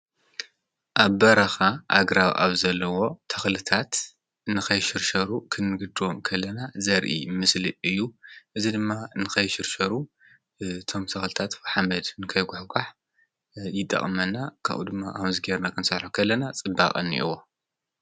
ኣብ በራኻ ኣግራው ኣብ ዘለዎ ተኽልታት ንኸይሽርሸሩ ኽንግድም ከለና ዘርኢ ምስሊ እዩ። እዝ ድማ ንኸይሽርሸሩ ቶም ተኽልታት ፈሓመድ ንከይጐሕ ጓሕ ይጠቕመና። ካቡኡ ድሚ ኣምዝጌርና ኸንሣልሖ ኸለና ጽባቐኒይዎ ።